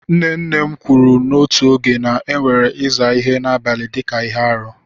Nne nne m kwuru n'otu oge na a na-ewere ịsa ihe n'abalị dị ka ihe arụ.